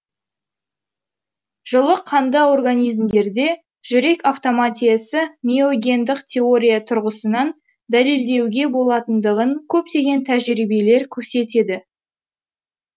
жылы қанды организмдерде жүрек автоматиясы миогендік теория тұрғысынан дәлелдеуге болатындығын көптеген тәжірибелер көрсетеді